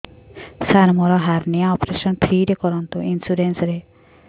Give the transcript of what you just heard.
ସାର ମୋର hernia operation free ରେ କରନ୍ତୁ ଇନ୍ସୁରେନ୍ସ ରେ